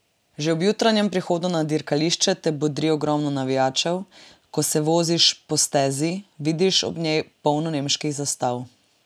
Že ob jutranjem prihodu na dirkališče te bodri ogromno navijačev, ko se voziš po stezi, vidiš ob njej polno nemških zastav.